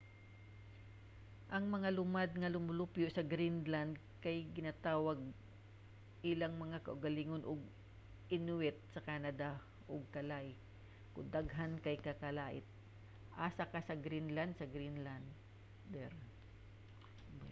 ang mga lumad nga lumulupyo sa greenland kay ginatawag ilang mga kaugalingon og inuit sa canada ug kalaalleq kon daghan kay kalaallit usa ka greenlander sa greenland